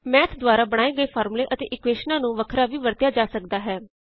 math ਦੁਆਰਾ ਬਣਾਏ ਫਾਰਮੂਲੇ ਅਤੇ ਇਕੁਏਸ਼ਨਾਂ ਨੂੰ ਵੱਖਰਾ ਵੀ ਵਰਤਿਆ ਜਾ ਸਕਦਾ ਹੈ